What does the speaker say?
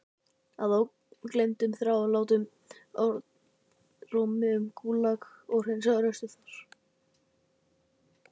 Að ógleymdum þrálátum orðrómi um Gúlag og hreinsanir austur þar.